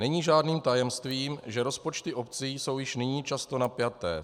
Není žádným tajemstvím, že rozpočty obcí jsou již nyní často napjaté.